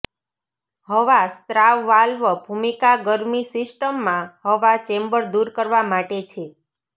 હવા સ્રાવ વાલ્વ ભૂમિકા ગરમી સિસ્ટમમાં હવા ચેમ્બર દૂર કરવા માટે છે